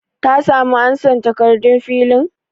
Ta samu ansan takardun filin?